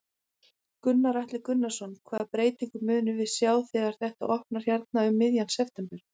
Gunnar Atli Gunnarsson: Hvaða breytingu munum við sjá þegar þetta opnar hérna um miðjan september?